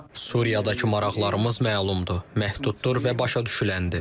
Suriyadakı maraqlarımız məlumdur, məhduddur və başa düşüləndir.